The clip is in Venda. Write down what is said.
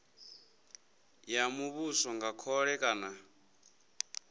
ya muvhuso nga khole kana